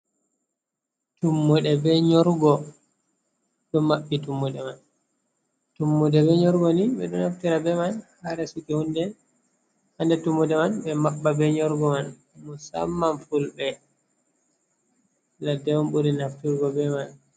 Tummuɗe be nyorugo, ɗo maɓɓi tummuɗe man, tummude e nyorugo ni ɓeɗo naftira be man ha resuki hunde ha nder tummude man ɓe maɓɓa be nyorugo man, musamman fulɓe ladde on ɓuri nafturgo be man.